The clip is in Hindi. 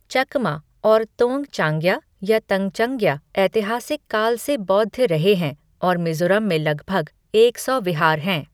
चकमा और तोंगचांग्या या तंचंग्या ऐतिहासिक काल से बौद्ध रहे हैं और मिज़ोरम में लगभग एक सौ विहार हैं।